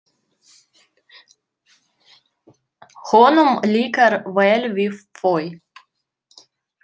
Honum líkar vel við þau.